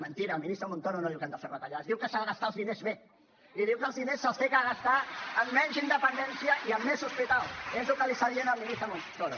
mentida el ministre montoro no diu que hem de fer retallades diu que s’han de gastar els diners bé i diu que els diners se’ls ha de gastar en menys independència i en més hospitals és el que li està dient el ministre montoro